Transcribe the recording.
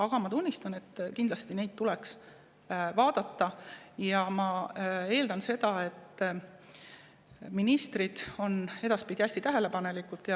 Aga ma tunnistan, et need asjad tuleks kindlasti vaadata, ja ma eeldan, et ministrid on edaspidi hästi tähelepanelikud.